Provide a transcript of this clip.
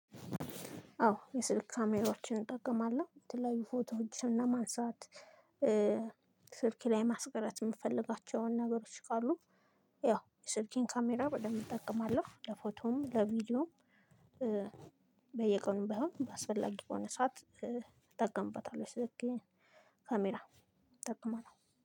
አዎ የስልክ ካሜራዎችን እጠቀማለሁ። የተለያዩ ፎቶዎን ለማንሳት ስልኬ ላይ ማስቀረት ምፈልጋቸውን ነገሮች ካሉ ያው የስልኬን ካሜራ በደንብ እጠቀማለሁ። ለፎቶም ለቪዲዮም በየቀኑ ባይሆን ባስፈላጊ በሆነ ሰዓት እጠቀምበታለሁ የስልኬን ካሜራ እጠቀማለሁ።